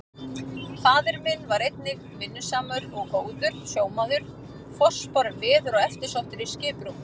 Faðir minn var einnig vinnusamur og góður sjómaður, forspár um veður og eftirsóttur í skiprúm.